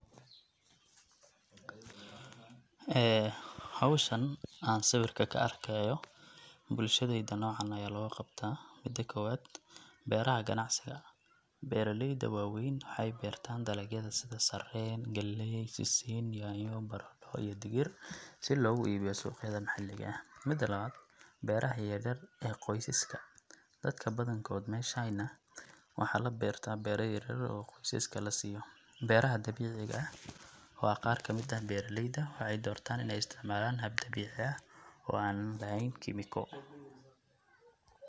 howshan aan sawrika ka arkaayo bulshadeyda noocan ayaa looga qabtaa ,mida kowaad beeraha waweyn waxeey beertaan beeraha sida sareen ,galeey, sisin, yaanyo, baradho iyo digir si loogi iibiyo suuqyada maxalliga ah .Mida lawaad beeraha yaryar ee qoysaska dadka badankood meshayna waxaa la beertaa beera yarayar oo qoysaska la siiyo .Beeraha dabiciga ah waa qaar kamid ah beeralayda waxeey doortaan ineey isticmalaan hab dabiici ah oo aan lahayn kemiko.